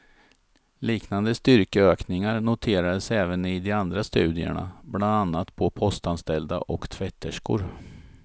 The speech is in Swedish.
Liknande styrkeökningar noterades även i de andra studierna, bland annat på postanställda och tvätterskor.